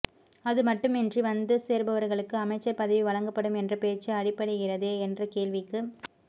அதுமட்டுமின்றி வந்து சேர்பவர்களுக்கு அமைச்சர் பதவி வழங்கப்படும் என்ற பேச்சு அடிபடுகிறதே என்ற கேள்விக்கு